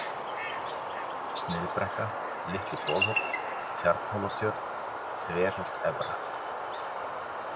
Sniðbrekka, Litli-Bolhóll, Tjarnhólatjörn, Þverholt Efra